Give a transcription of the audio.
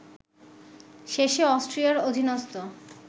শেষে অস্ট্রিয়ার অধীনস্থ